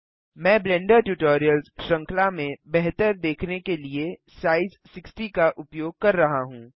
मैं Blender tutorials श्रृंखला में बेहतर देखने के लिए साइज 60 का उपयोग कर रहा हूँ